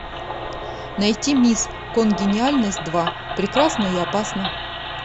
найти мисс конгениальность два прекрасна и опасна